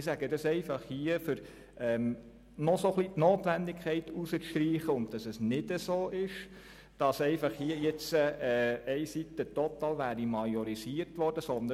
Ich sage das hier, um die Notwendigkeit herauszustreichen und um zu widerlegen, dass die eine Seite jetzt einfach total majorisiert worden ist.